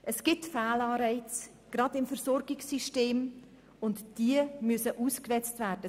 Es gibt Fehlanreize gerade im Versorgungssystem, und diese müssen ausgemerzt werden.